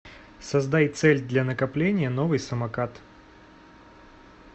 создай цель для накопления новый самокат